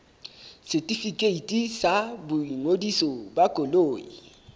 setefikeiti sa boingodiso ba koloi